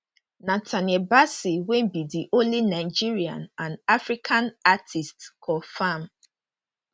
nathaniel bassey wey be di only nigerian and african artiste confam